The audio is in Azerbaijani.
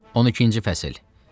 12-ci fəsil.